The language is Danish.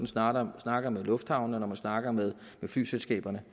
snakker snakker med lufthavnene og når man snakker med flyselskaberne